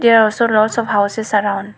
there also lots of houses around.